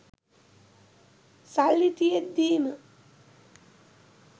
සල්ලි තියෙද්දිම